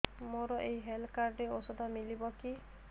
ମୋର ଏଇ health card ରେ ଔଷଧ ମିଳିବ କି